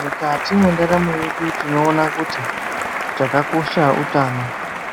Mukati mentaramo yedu tinowona kuti chakakosha hutano